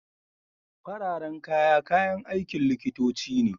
Fararen kaya, kayan aikin likitoci ne.